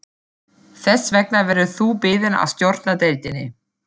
Þess vegna verður þú beðinn að stjórna deildinni